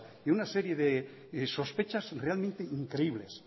y una serie de sospechas realmente increíbles